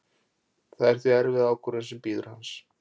Það er því erfið ákvörðun sem bíður hans.